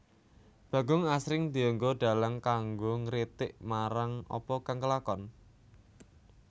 Bagong asring dienggo dhalang kanggo ngritik marang apa kang kelakon